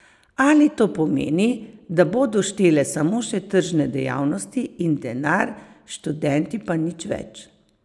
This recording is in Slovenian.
Ali to pomeni, da bodo štele samo še tržne dejavnosti in denar, študenti pa nič več?